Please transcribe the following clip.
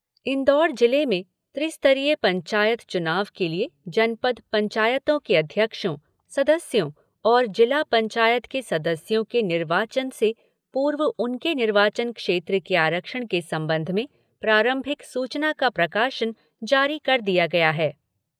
इंदौर जिले में त्रिस्तरीय पंचायत चुनाव के लिए जनपद पंचायतों के अध्यक्षों, सदस्यों और जिला पंचायत के सदस्यों के निर्वाचन से पूर्व उनके निर्वाचन क्षेत्र के आरक्षण के संबंध में प्रारंभिक सूचना का प्रकाशन जारी कर दिया गया है।